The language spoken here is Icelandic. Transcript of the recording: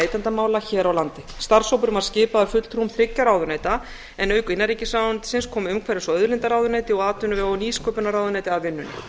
neytendamála hér á landi starfshópurinn var skipaður fulltrúum þriggja ráðuneyta en auk innanríkisráðuneytisins kom umhverfis og auðlindaráðuneyti og atvinnuvega og nýsköpunarráðuneyti að vinnunni